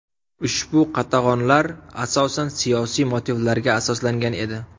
Ushbu qatag‘onlar asosan siyosiy motivlarga asoslangan edi.